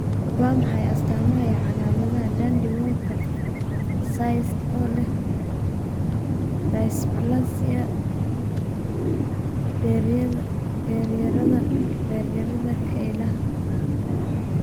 Waa maxay astaamaha iyo calaamadaha Dandy Walker cyst oo leh dysplasia beeryarada beeryarada kelyaha?